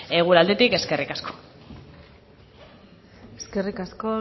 gure aldetik eskerrik asko eskerrik asko